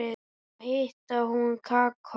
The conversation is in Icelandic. Svo hitaði hún kakó.